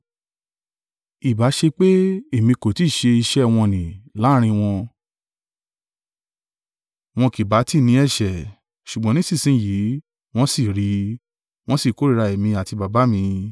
Ìbá ṣe pé èmi kò ti ṣe iṣẹ́ wọ̀n-ọn-nì láàrín wọn tí ẹlòmíràn kò ṣe rí, wọn kì bá tí ní ẹ̀ṣẹ̀, ṣùgbọ́n nísinsin yìí wọ́n sì rí, wọ́n sì kórìíra èmi àti Baba mi.